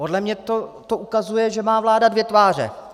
Podle mě to ukazuje, že má vláda dvě tváře.